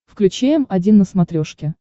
включи м один на смотрешке